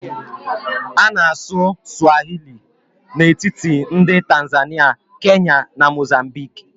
A na anụ Swahili n'etiti ndị Tanzania, Kenya na Mozambique